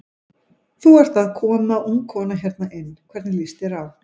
Þú ert að koma ung kona hérna inn, hvernig líst þér á?